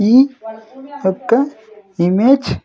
ఈ ఒక్క ఇమేజ్ --